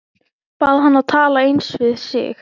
Bað hann að tala aðeins við sig.